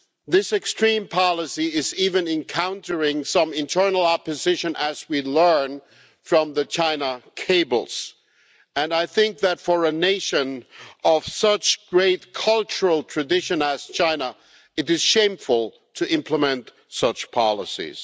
This extreme policy is even encountering some internal opposition, as we learn from the China cables, and I think that for a nation of such great cultural tradition as China, it is shameful to implement such policies.